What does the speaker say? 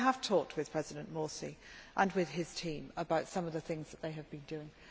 I have talked with President Morsi and with his team about some of the things that they have been doing.